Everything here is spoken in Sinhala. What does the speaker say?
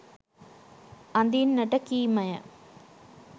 අඳින්නට කීමය.